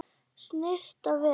Snyrta vel.